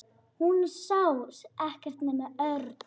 Hún sá ekkert nema Örn.